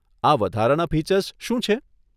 આ વધારાના ફીચર્સ શું છે?